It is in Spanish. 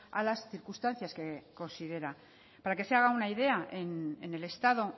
a las circunstancias que considera para que se haga una idea en el estado